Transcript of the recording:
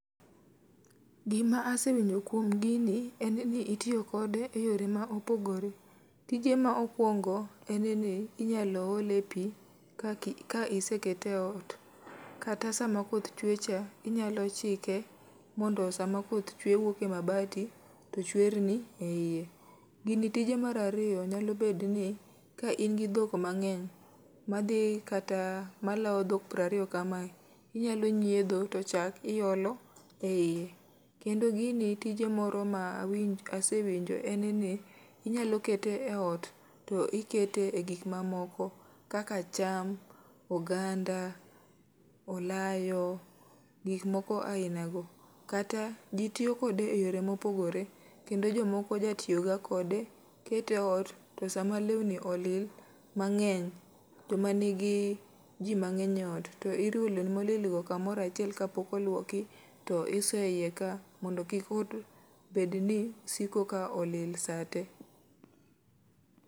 Gima asewinjo kuom gini en ni itiyo kode e yore ma opogore. Tije ma okwongo en ni inyalo ole pi kaki ka isekete e ot, kata sama koth chwe cha inyalo chike mondo sa ma koth chwe wuok e mabati to chwer ni e iye. Gini tije marariyo nyalo bed ni ka in gi dhok mang'eny, madhi kata malawo dhok prariyo kamae, inyalo nyiedho to chak iolo e iye. Kendo gini tije moro ma awinj asewinjo en ni inyalo kete e ot, to ikete e gik ma momoko. Kaka cham, oganda, olayo, gik moko aina go. Kata ji tiyo kode e yore mopogore, kendo jomoko ja tiyo ga kode, kete e ot. To sama lewni olil, mang'eny, joma nigi ji mang'eny e ot. To iriwo lewni molil go kamorachiel kapok olwoki to isoye iye ka mondo kik ot bed ni siko ka olil sa te.